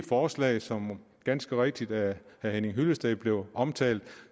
forslag som ganske rigtigt af herre henning hyllested blev omtalt